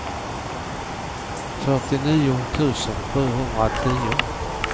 fyrtionio tusen sjuhundratio